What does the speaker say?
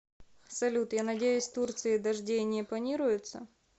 салют я надеюсь турции дождей не планируется